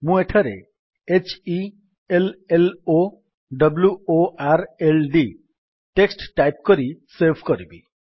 ମୁଁ ଏଠାରେ h e l l O w o r l D text type କରି save କରିବି